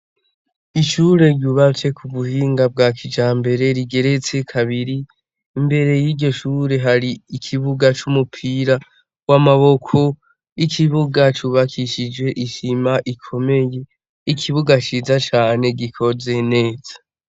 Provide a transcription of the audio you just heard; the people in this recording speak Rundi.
Icure ryubase ku buhinga bwa kija mbere rigeretse kabiri imbere y'igishure hari ikibuga c'umupira w'amaboko ikibuga cubakishije ishima ikomeye ikibuga ciza cane gikoze neza.